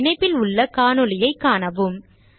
இந்த இணைப்பில் உள்ள காணொளியைக காணவும்